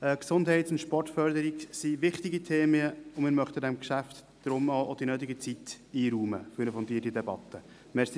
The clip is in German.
Gesundheits- und Sportförderung sind wichtige Themen und wir möchten diesem Geschäft deshalb auch die nötige Zeit für die Debatte einräumen.